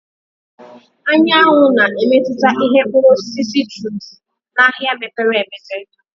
Anyanwụ na-emetụta ìhè Mkpụrụ osisi citrus n'ahịa mepere emepe.